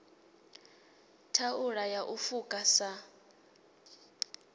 thaula ya u fuka sa